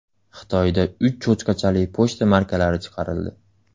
Xitoyda uch cho‘chqachali pochta markalari chiqarildi.